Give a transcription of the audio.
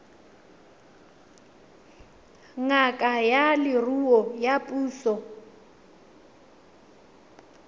ngaka ya leruo ya puso